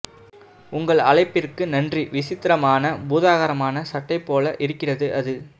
உங்கள் அழைப்புக்கு நன்றி விசித்திரமான பூதாகரமான சட்டை போல இருக்கிறது அது